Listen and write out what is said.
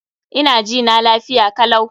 Ina jina lafiya kalau.